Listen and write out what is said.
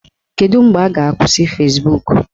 Kedu mgbe a ga-akwụsị Fezbuk?